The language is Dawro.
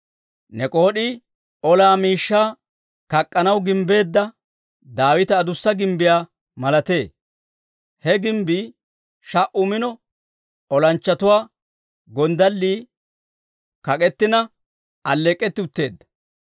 Ne k'ood'ii olaa miishshaa kak'k'anaw gimbbeedda, Daawita adussa gimbbiyaa malatee; he gimbbii sha"u mino olanchchatuwaa gonddallii kak'ettina, alleek'k'etti utteedda.